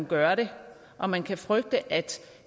gør det og man kan frygte at